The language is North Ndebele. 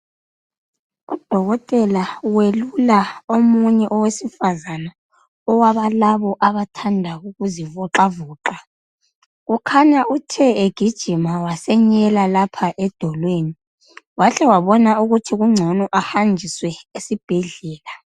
Udokotela welula omunye owesifazana owabalabo abathanda ukuzivoxavoxa kukhanya uthe egijima wasenyela lapha edolweni wahle wabona ukuthi kungcono ahanjiswe esibhedlela.